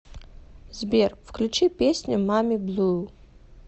сбер включи песню мами блу